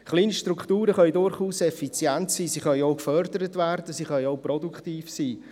– Kleinstrukturen können durchaus effizient sein, sie können gefördert werden, und sie können produktiv sein.